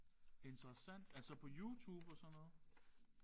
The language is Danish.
Interessant. Altså på YouTube og sådan noget?